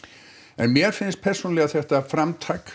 en mér finnst persónulega þetta framtak